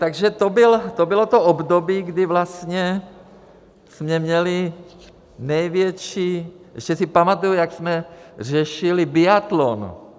Takže to bylo to období, kdy vlastně jsme měli největší - ještě si pamatuji, jak jsme řešili biatlon.